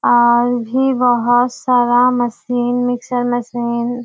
आज भी बहुत सारा मशीन मिक्सर मशीन --